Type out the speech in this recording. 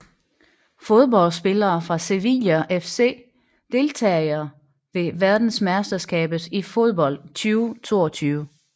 Fodboldspillere fra Sevilla FC Deltagere ved verdensmesterskabet i fodbold 2022